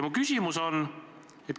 Minu küsimus on selline.